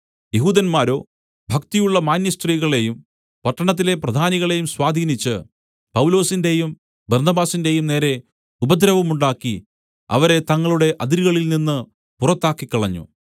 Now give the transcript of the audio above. യെഹൂദന്മാരോ ഭക്തിയുള്ള മാന്യസ്ത്രീകളെയും പട്ടണത്തിലെ പ്രധാനികളെയും സ്വാധീനിച്ച് പൗലൊസിന്റെയും ബർന്നബാസിന്റെയും നേരെ ഉപദ്രവമുണ്ടാക്കി അവരെ തങ്ങളുടെ അതിരുകളിൽ നിന്ന് പുറത്താക്കിക്കളഞ്ഞു